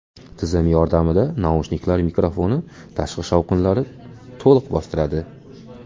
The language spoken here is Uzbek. Tizim yordamida naushniklar mikrofoni tashqi shovqinlari to‘liq bostiradi.